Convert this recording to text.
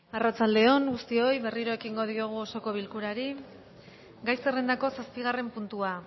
arratsalde on guztioi berriro ekin diogu osoko bilkurari gai zerrendako zazpigarren puntua